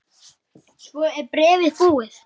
Svo er bréfið búið